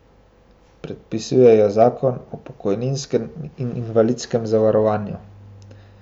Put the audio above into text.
Predpisuje jo zakon o pokojninskem in invalidskem zavarovanju.